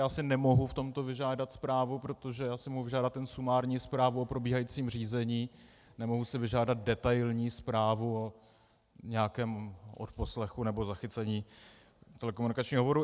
Já si nemohu v tomto vyžádat zprávu, protože já si mohu vyžádat jenom sumární zprávu o probíhajícím řízení, nemohu si vyžádat detailní zprávu o nějakém odposlechu nebo zachycení telekomunikačního hovoru.